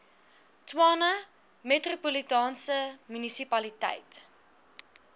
tshwane metropolitaanse munisipaliteit